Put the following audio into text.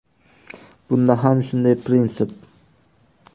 Bunda ham shunday prinsip.